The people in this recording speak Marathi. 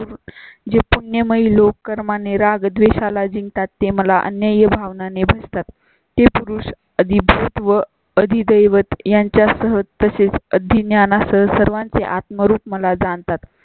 जे पुण्य मधील लोक कर्म आणि राग द्वेषा ला जिंकतात ते मला अन्याय भावना ने भजतात. हे पुरुष अधिभूत व अधिदैवत यांच्या सह तसेच अधिण्यानं सह सर्वांचे आत्म रूप मला जाणतात.